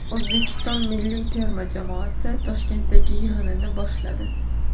O‘zbekiston milliy terma jamoasi Toshkentdagi yig‘inini boshladi.